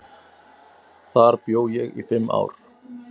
Þar bjó ég í fimm ár.